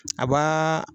A b'aa